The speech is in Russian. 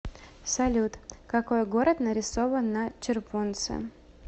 салют какой город нарисован на червонце